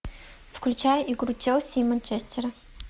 включай игру челси и манчестера